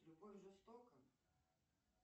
любовь жестока